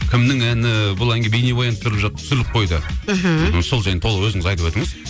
кімнің әні бұл әнге бейнебаян түсіріліп қойды мхм сол жайында толық өзіңіз айтып өтіңіз